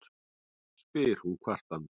spyr hún kvartandi.